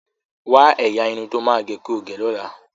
Wa ẹyà Irun tó má o ge kii ọ gé ló là.